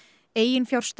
eiginfjárstaða